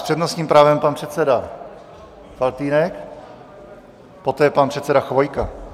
S přednostním právem pan předseda Faltýnek, poté pan předseda Chvojka.